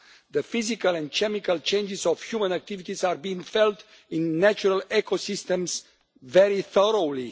The physical and chemical changes of human activities are being felt in natural ecosystems very strongly.